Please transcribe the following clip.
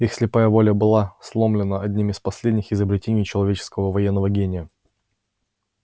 их слепая воля была сломлена одним из последних изобретений человеческого военного гения